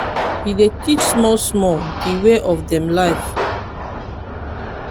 e dey teach small small de way of dem life.